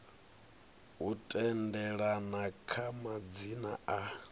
u tendelana kha madzina a